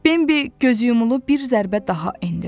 Benbi gözüyumulu bir zərbə daha endirdi.